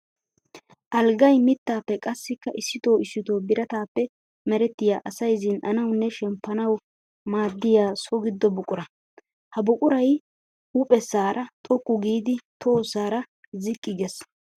Alggay mittappe qassikka issitto issitto biratappe merettiya asay zin'annawunne shemppannawu maadiya so gido buqura. Ha buquray huuphesara xoqqu giidi tohosara ziqqi geesi